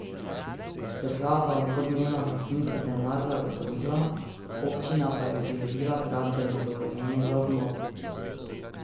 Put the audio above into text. Država je kot njena lastnica denar zagotovila, občina pa je pridobila gradbeno dovoljenje za obnovo.